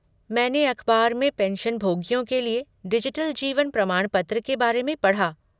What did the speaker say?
मैंने अखबार में पेंशनभोगियों के लिए डिजिटल जीवन प्रमाणपत्र के बारे में पढ़ा।